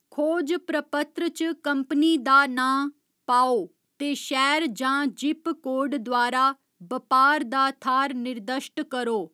खोज प्रपत्र च कंपनी दा नांऽ पाओ ते शैह्‌र जां जिप कोड द्वारा बपार दा थाह्‌र निर्दश्ट करो।